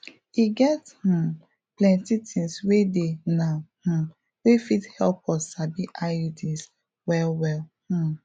e get um plenty things wey dey now um wey fit help us sabi iuds well well um